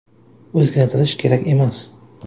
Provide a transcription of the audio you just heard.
O‘zgartirish kerak emas.